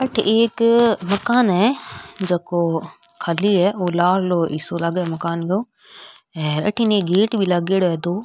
अठे एक मकान है जको खाली है ओ लार लो हिस्सों है मकान को हेर अठीने एक गेट भी लागेड़ो है दो।